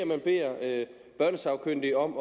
man beder børnesagkyndige om